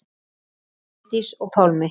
Bryndís og Pálmi.